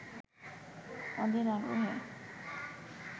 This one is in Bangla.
অধীর আগ্রহে